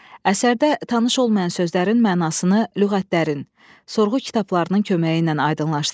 Əsərdə tanış olmayan sözlərin mənasını, lüğətlərin, sorğu kitablarının köməyi ilə aydınlaşdırın.